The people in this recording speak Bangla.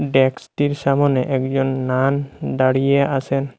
ডেক্সটির সামনে একজন নান দাঁড়িয়ে আসেন।